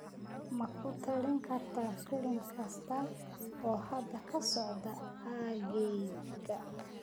ma ku talin kartaa filim kasta oo hadda ka socda aaggayga